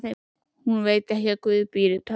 Hún veit ekki að guð býr í tölvunni.